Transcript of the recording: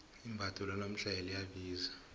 imbatho lanamhlanje liyabiza